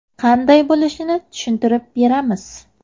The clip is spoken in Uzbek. Qanday bo‘lishini tushuntirib beramiz.